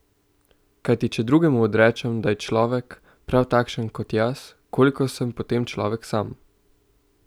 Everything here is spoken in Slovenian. Kajti če drugemu odrečem, da je človek, prav takšen kot jaz, koliko sem potem človek sam?